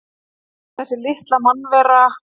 Þessi litla mannvera!